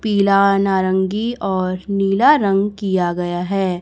पीला नारंगी और नीला रंग किया गया हैं।